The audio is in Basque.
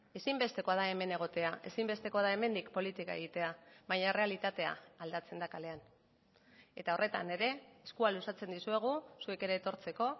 ezinbestekoa da hemen egotea ezinbestekoa da hemendik politika egitea baina errealitatea aldatzen da kalean eta horretan ere eskua luzatzen dizuegu zuek ere etortzeko